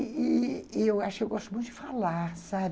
E e eu acho que eu gosto muito de falar, sabe?